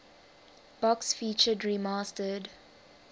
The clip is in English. box featured remastered